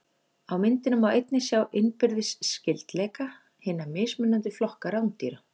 Á myndinni má einnig sjá innbyrðis skyldleika hinna mismunandi flokka rándýra.